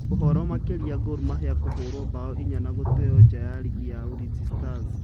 Ũhoro makĩria Gormahia kũhũrwo mbaũ inya na gũteo nja nĩ rĩgi ya Ulinzi stars